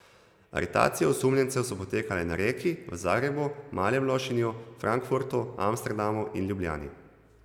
Aretacije osumljencev so potekale na Reki, v Zagrebu, Malem Lošinju, Frankfurtu, Amsterdamu in Ljubljani.